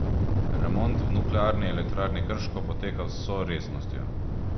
Remont v Nuklearni elektrarni Krško poteka z vso resnostjo.